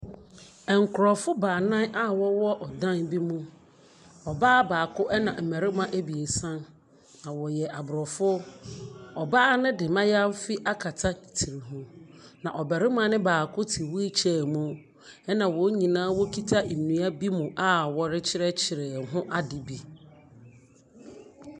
Nkurɔfoɔ baanan a wɔwɔ ɔdan bi mu. Ɔbaa baako na mmarima abiesa, na wɔyɛ aborɔfo. Ɔbaa no de mmaayaafi akata ne tiri ho, na ɔbarima no baako te wheelchair mu, ɛnna wɔn nyinaa wɔkita nnua bi mu rekyerɛkyerɛ ho ade bi.